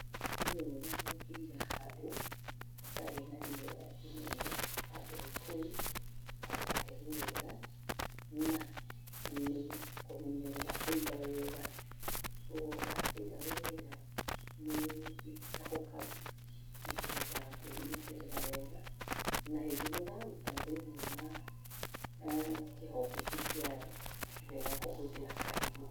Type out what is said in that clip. Nĩ wega gũkĩiga handũ hatarĩ na riũa inene, handũ cool, handũ hahĩhu wega, na, nĩ kũmenyerera kũiga wega, oguo wakĩiga wega, nĩ gĩtikahũkaga nĩ kĩhotaga kwĩnyitĩrĩra wega, na hĩndĩ ĩrĩa ũraruta thĩiniĩ wa kĩhonge kĩu kiayo, nĩ wega kũhũthera kahiũ.